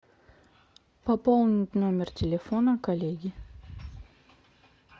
пополнить номер телефона коллеги